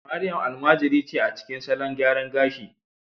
Mariam almajiri ce a cikin salon gyaran gashi